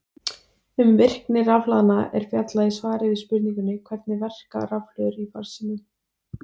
Um virkni rafhlaðna er fjallað í svari við spurningunni Hvernig verka rafhlöður í farsímum?